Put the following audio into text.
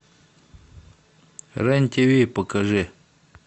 рен тв покажи